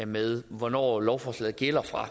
med hvornår lovforslaget gælder fra